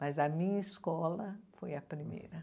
Mas a minha escola foi a primeira.